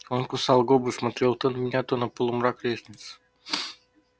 он кусал губы смотрел то на меня то на полумрак лестницы